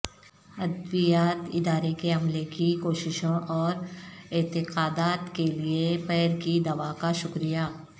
ادویات ادارے کے عملے کی کوششوں اور اعتقادات کے لئے پیر کی دوا کا شکریہ